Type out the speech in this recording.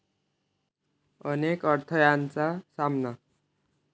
अनेक अडथळय़ांचा सामना